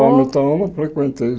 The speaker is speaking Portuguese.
Palmitau eu não frequentei